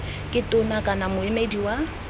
ke tona kana moemedi wa